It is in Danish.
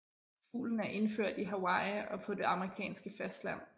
Fuglen er indført i Hawaii og på det amerikanske fastland